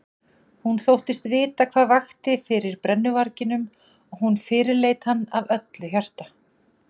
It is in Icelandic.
Hún þóttist vita hvað vakti fyrir brennuvarginum og hún fyrirleit hann af öllu hjarta.